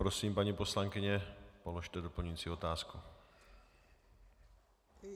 Prosím, paní poslankyně, položte doplňující otázku.